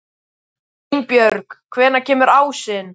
Einbjörg, hvenær kemur ásinn?